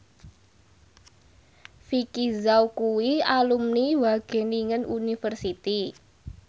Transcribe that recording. Vicki Zao kuwi alumni Wageningen University